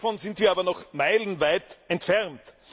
Davon sind wir aber noch meilenweit entfernt.